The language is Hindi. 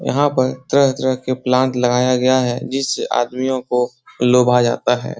यहाँ पे तरह-तरह प्लान्ट्स लगाया गया है जिससे आदमियों को लुभाया जाता है ।